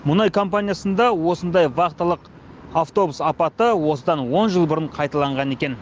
мұнай компаниясында осындай вахталық автобус апаты осыдан он жыл бұрын қайталанған екен